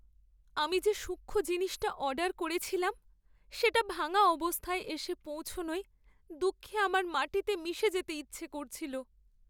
আমি যে সূক্ষ্ম জিনিসটা অর্ডার করেছিলাম সেটা ভাঙা অবস্থায় এসে পৌঁছানোয় দুঃখে আমার মাটিতে মিশে যেতে ইচ্ছা করছিল।